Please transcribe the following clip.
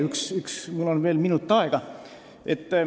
Üks teema veel, mul on üks minut aega.